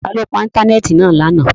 Ta lo pa íńtánẹ́ẹ̀tì náa lana?